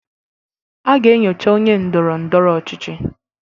A ga-enyocha onye ndoro-ndoro ochichi